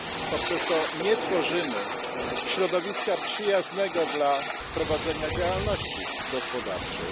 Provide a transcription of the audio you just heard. Poprzez to nie tworzymy środowiska przyjaznego dla prowadzenia działalności gospodarczej.